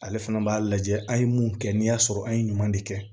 Ale fana b'a lajɛ an ye mun kɛ n'i y'a sɔrɔ an ye ɲuman de kɛ